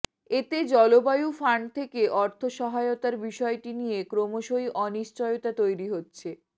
এতে জলবায়ু ফান্ড থেকে অর্থ সহায়তার বিষয়টি নিয়ে ক্রমশই অনিশ্চয়তা তৈরি হচ্ছে